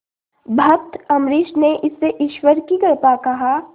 भक्त अम्बरीश ने इसे ईश्वर की कृपा कहा